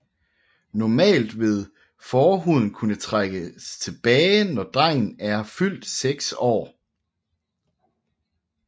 Normalt vil forhuden kunne trækkes tilbage når drengen er fyldt seks år